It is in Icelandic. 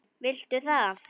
Viltu það?